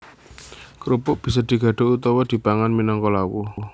Krupuk bisa digadho utawa dipangan minangka lawuh